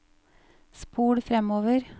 spol framover